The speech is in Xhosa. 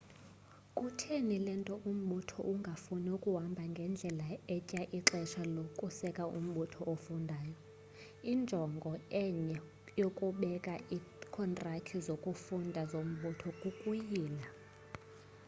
kutheni le nto umbutho ungafuna ukuhamba ngendlela etya ixesha lokuseka umbutho ofundayo injongo enye yokubeka iikhontrakthi zokufunda zombutho kukuyila